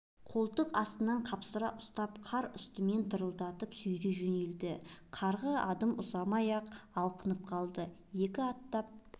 қолтық астынан қапсыра ұстап қар үстімен дырылдатып сүйрей жөнелді қарға адым ұзамай алқынып қалды екі аттап